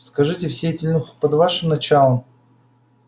скажите все эти люди находятся под вашим началом